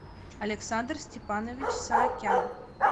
александр степанович саакян